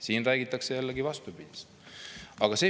Siin räägitakse jällegi vastupidist.